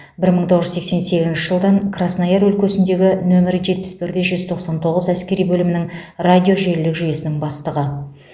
бір мың тоғыз жүз сексен сегізінші жылдан краснояр өлкесіндегі нөмірі жетпіс бір де жүз тоқсан тоғыз әскери бөлімінің радиожелілік жүйесінің бастығы